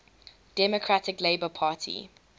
democratic labour party